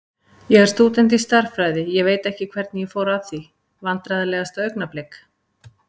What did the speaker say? Ég er stúdent í stærðfræði, ég veit ekkert hvernig ég fór að því Vandræðalegasta augnablik?